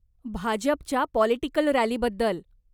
भाजपच्या पॉलिटिकल रॅलीबद्दल.